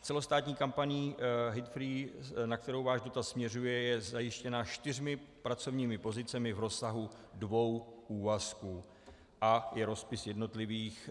Celostátní kampaň Hatefree, na kterou váš dotaz směřuje, je zajištěna čtyřmi pracovními pozicemi v rozsahu dvou úvazků a je rozpis jednotlivých